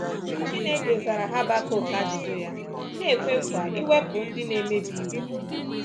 Chineke zara Habakuk ajụjụ ya, na-ekwe nkwa iwepụ “ndị na-emebi iwu.”